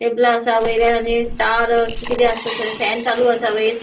टेबला असा वयर आणि स्टार किते किते असा ते फॅन चालू असा वयर.